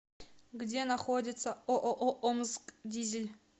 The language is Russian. где находится ооо омскдизель